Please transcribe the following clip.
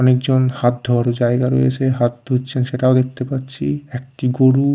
অনেকজন হাত ধোয়রও জায়গা রয়েছে হাত ধুচ্ছেন সেটাও দেখতে পাচ্ছি একটি গরু--